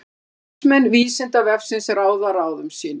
Starfsmenn Vísindavefsins ráða ráðum sínum.